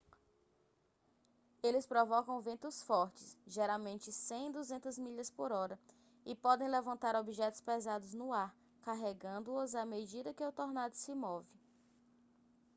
eles provocam ventos fortes geralmente 100-200 milhas/hora e podem levantar objetos pesados no ar carregando-os à medida que o tornado se move